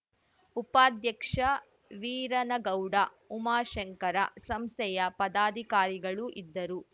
ಉಪಾಧ್ಯಕ್ಷ ವೀರನಗೌಡ ಉಮಾಶಂಕರ ಸಂಸ್ಥೆಯ ಪದಾಧಿಕಾರಿಗಳು ಇದ್ದರು